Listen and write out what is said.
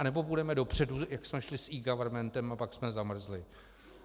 Nebo půjdeme dopředu, jak jsme šli s eGovernmentem, a pak jsme zamrzli.